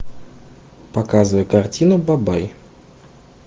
показывай картину бабай